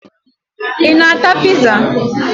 Ị na-ata piza?